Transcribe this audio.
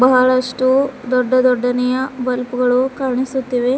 ಬಹಳಷ್ಟು ದೊಡ್ಡ ದೊಡ್ಡನೆಯ ಬಲ್ಪು ಗಳು ಕಾಣಿಸುತ್ತಿವೆ.